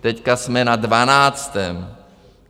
teď jsme na dvanáctém.